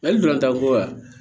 Mali don tan ko la